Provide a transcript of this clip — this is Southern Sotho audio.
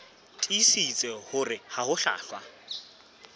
tiisitse hore ha ho hlwahlwa